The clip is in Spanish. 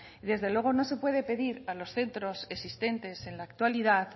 y desde luego no se puede pedir a los centros existentes en la actualidad